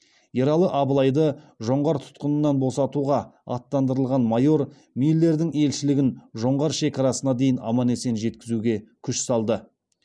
ералы абылайды жоңғар тұтқынынан босатуға аттандырылған майор миллердің елшілігін жоңғар шекарасына дейін аман есен жеткізуге күш салды